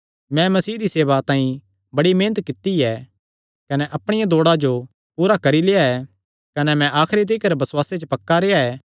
मैं मसीह दी सेवा तांई बड़ी मेहनत कित्ती ऐ कने अपणिया दौड़ा जो पूरी करी लेआ ऐ कने मैं आखरी तिकर बसुआसे च पक्का रेह्आ ऐ